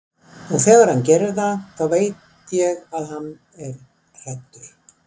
Og þegar hann gerir það veit ég að hann er hræddur.